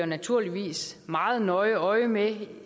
naturligvis meget nøje øje med